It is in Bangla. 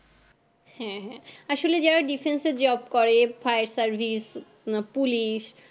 হ্যাঁ হ্যাঁ আসলে যারা defence এ job করে fire service police